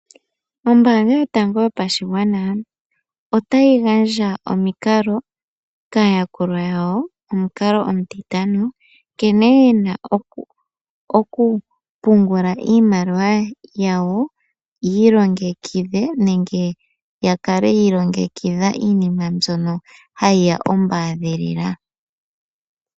Ombaanga yotango yopashigwana otayi gandja omikalo kaayakulwa yawo, omukalo omutitano nkene yena okupungula iimaliwa yawo yiilongekidhe nenge yakale yiilongekidha iinima mbyono ha yi ya ombaadhilila.